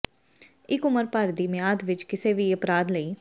ਇੱਕ ਉਮਰ ਭਰ ਦੀ ਮਿਆਦ ਵਿੱਚ ਕਿਸੇ ਵੀ ਅਪਰਾਧ ਲਈ